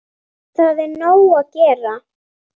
Það er nóg að gera.